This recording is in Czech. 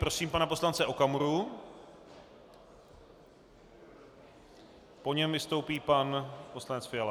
Prosím pana poslance Okamuru, po něm vystoupí pan poslanec Fiala.